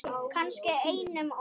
Kannski einum of.